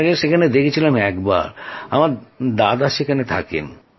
আপনাকে সেখানে দেখেছিলাম একবার আমার দাদা সেখানে থাকেন